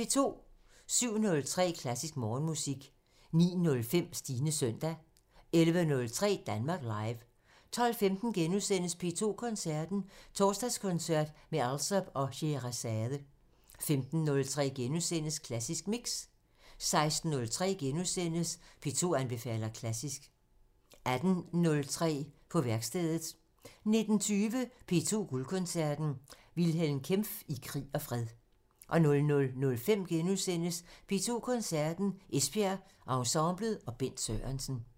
07:03: Klassisk Morgenmusik 09:05: Stines søndag 11:03: Danmark Live 12:15: P2 Koncerten – Torsdagskoncert med Alsop og Sheherazade * 15:03: Klassisk Mix * 16:03: P2 anbefaler klassisk * 18:03: På værkstedet 19:20: P2 Guldkoncerten – Wilhelm Kempff i krig og fred 00:05: P2 Koncerten – Esbjerg Ensemblet og Bent Sørensen *